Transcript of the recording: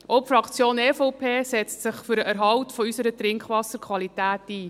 Auch die Fraktion EVP setzt sich für den Erhalt unserer Trinkwasserqualität ein.